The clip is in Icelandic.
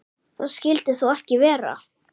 Það skyldi þó ekki vera?